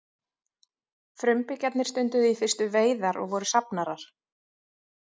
frumbyggjarnir stunduðu í fyrstu veiðar og voru safnarar